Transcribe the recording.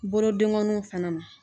Bolodenkɔninw fɛnɛ ma.